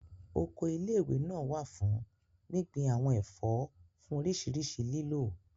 Oko ilé ìwé náà wà fún gbíngbin àwọn ẹ̀fọ́ fún oríṣiríṣi lílò